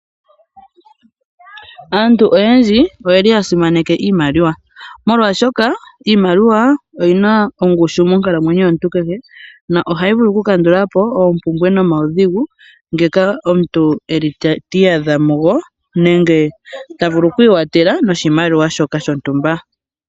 Aantu oyendji oyel i ya simaneka iimaliwa. Molwashoka iimaliwa oyi na ongushu monkalamwenyo kehe yomuntu, na ohayi vulu okukandula po oompumbwe nomaudhigu ngoka a muntu ta iyadha mugo, nenge ta vulu oku ikwathela noshimaliwa shoka shontumba.